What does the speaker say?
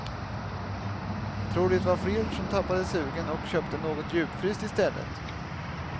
Tror det var fler som tappade sugen och köpte något djupfryst i stället.